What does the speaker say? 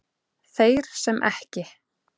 Þeir sem ekki